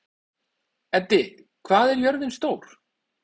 Eddi, hvað er jörðin stór?